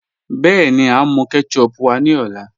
Bẹẹni, à n mú kẹ́tẹ̀chùp wá ní ọlá